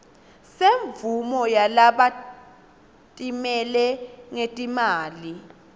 semvumo yalabatimele ngetimali